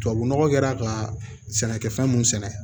Tubabu nɔgɔ kɛra ka sɛnɛkɛfɛn mun sɛnɛ